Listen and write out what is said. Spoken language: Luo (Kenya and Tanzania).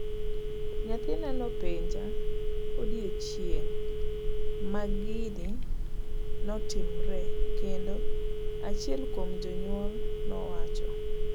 'Nyathina nopenja odiechieng' magini notimree kendo'',achiel kuom jonyuol nowacho.